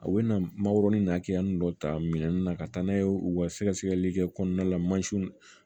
A bɛ na marɔku ni nakiya ninnu dɔ ta minɛn na ka taa n'a ye u ka sɛgɛsɛgɛli kɛ kɔnɔna la